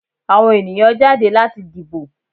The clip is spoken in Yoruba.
Àwọn ènìyàn jáde láti dìbò.